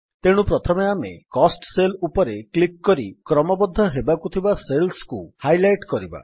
ତେଣୁ ପ୍ରଥମେ ଆମେ କୋଷ୍ଟ ସେଲ୍ ଉପରେ କ୍ଲିକ୍ କରି କ୍ରମବଦ୍ଧ ହେବାକୁ ଥିବା ସେଲ୍ସକୁ ହାଇଲାଇଟ୍ କରିବା